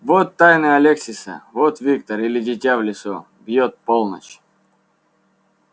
вот тайны алексиса вот виктор или дитя в лесу бьёт полночь